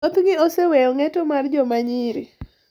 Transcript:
Thothgi oseweyo ng’eto mar joma nyiri.